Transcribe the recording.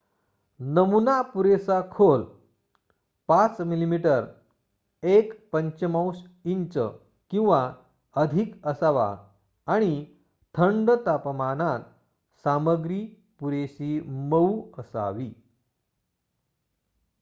नमुना पुरेसा खोल 5 मिमी 1/5 इंच किंवा अधिक असावा आणि थंड तापमानात सामग्री पुरेशी मऊ असावी